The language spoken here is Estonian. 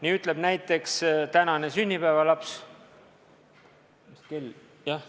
Nii ütleb näiteks tänane sünnipäevalaps – mis kell on?